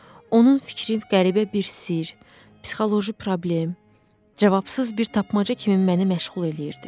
Onun fikri qəribə bir sirr, psixoloji problem, cavabsız bir tapmaca kimi məni məşğul eləyirdi.